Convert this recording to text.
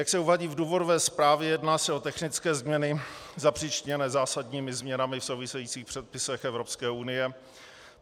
Jak se uvádí v důvodové zprávě, jedná se o technické změny zapříčiněné zásadními změnami v souvisejících předpisech Evropské unie.